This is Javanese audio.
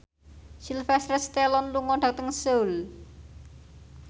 Sylvester Stallone lunga dhateng Seoul